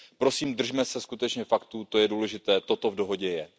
Prosím, držme se skutečně faktů, to je důležité, toto v dohodě je.